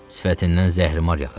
Sifətindən zəhərimar yağırdı.